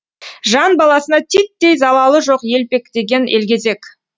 жан баласына титтей залалы жоқ елпектеген елгезек